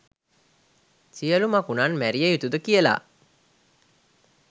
සියළු මකුණන් මැරිය යුතුද කියලා